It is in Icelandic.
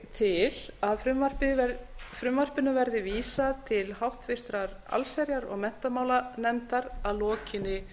til að frumvarpinu verði vísað til háttvirtrar allsherjar og menntamálanefndar að lokinni